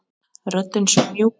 Röddin svo mjúk.